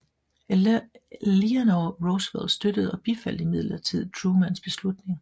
Eleanor Roosevelt støttede og bifaldt imidlertid Trumans beslutning